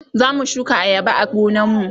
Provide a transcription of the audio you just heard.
zamu shuka ayaba a gonan mu